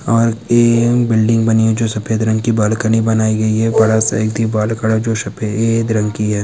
और एक बिल्डिंग बनी हुई है जो सफेद रंग की बालकनी बनाई गई है बड़ा सा एक दीवाल खड़ा जो सफेद रंग की है।